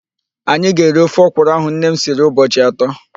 Anyị ga-eri ofe ọkwurụ ahụ nne m siri ụbọchị atọ.